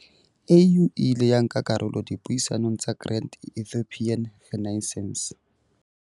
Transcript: AU e ile ya nka karolo dipuisanong tsa Grand Ethiopian Renaissance.